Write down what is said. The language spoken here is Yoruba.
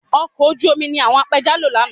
Ọkọ̀ ojú omi ni àwọn apẹja lo lánàá